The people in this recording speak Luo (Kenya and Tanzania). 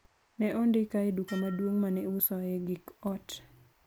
ne ondika e duka maduong' mane iusoye gik ot